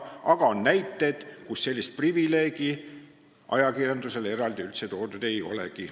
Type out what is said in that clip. Aga on näiteid, kus sellist privileegi ajakirjandusele üldse eraldi toodud ei ole.